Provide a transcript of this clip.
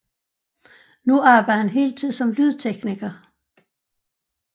Nu arbejder han heltid som lydtekniker